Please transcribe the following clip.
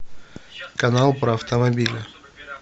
канал про автомобили